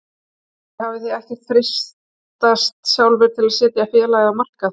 Sindri: Þið hafið ekkert freistast sjálfir til að setja félagið á markað?